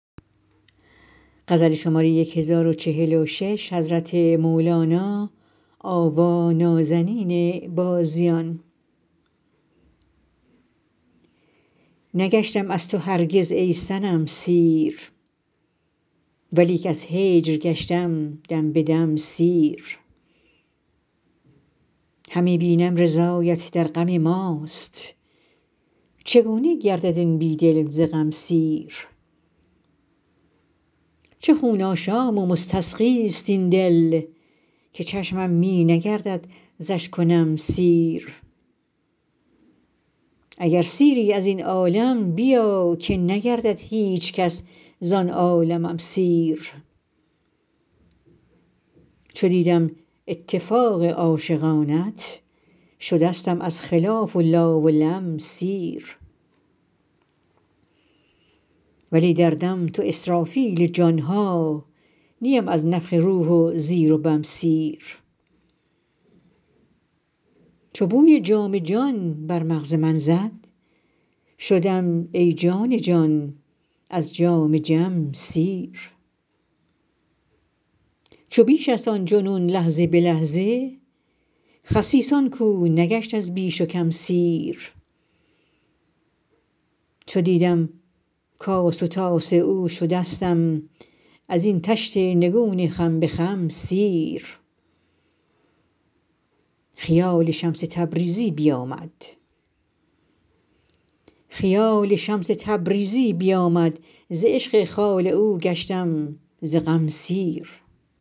نگشتم از تو هرگز ای صنم سیر ولیک از هجر گشتم دم به دم سیر همی بینم رضایت در غم ماست چگونه گردد این بی دل ز غم سیر چه خون آشام و مستسقیست این دل که چشمم می نگردد ز اشک و نم سیر اگر سیری از این عالم بیا که نگردد هیچ کس زان عالمم سیر چو دیدم اتفاق عاشقانت شدستم از خلاف و لا و لم سیر ولی دردم تو اسرافیل جان ها نیم از نفخ روح و زیر و بم سیر چو بوی جام جان بر مغز من زد شدم ای جان جان از جام جم سیر چو بیشست آن جنون لحظه به لحظه خسیس آن کو نگشت از بیش و کم سیر چو دیدم کاس و طاس او شدستم از این طشت نگون خم به خم سیر خیال شمس تبریزی بیامد ز عشق خال او گشتم ز غم سیر